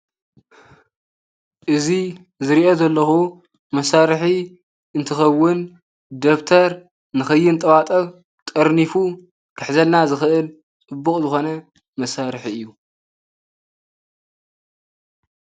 እዚ ዝርእዮ ዘለኩ መሳርሒ እንትኸዉን ደብተር ንኸይንጠባጠብ ጠርኒፉ ክሕዘልና ዝኽእል ፅቡቕ ዝኾነ መሳርሒ እዩ።